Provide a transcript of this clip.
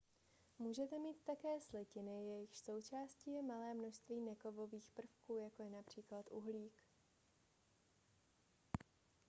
můžete mít také slitiny jejichž součástí je malé množství nekovových prvků jako je například uhlík